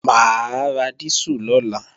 Mà á ra dísù lọ́la